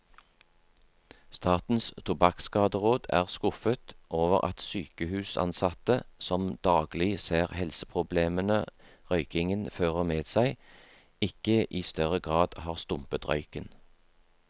Statens tobakkskaderåd er skuffet over at sykehusansatte, som daglig ser helseproblemene røykingen fører med seg, ikke i større grad har stumpet røyken.